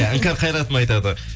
иә іңкәр қайратовна айтады